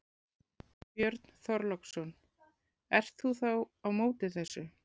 Björn Þorláksson: Ert þú þá á móti þessu?